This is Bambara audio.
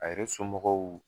A yɛrɛ somɔgɔw